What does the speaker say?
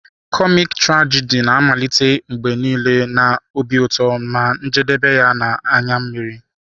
Kọmik trajidi na-amalite mgbe niile na obi ụtọ na-ejedebe na anya mmiri.